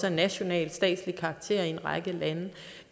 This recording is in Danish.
af national statslig karakter i en række lande